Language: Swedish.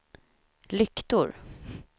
lyktor